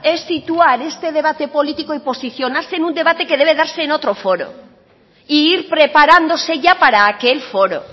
es situar este debate político y posicionarse en un debate que debe darse en otro foro e ir preparándose ya para aquel foro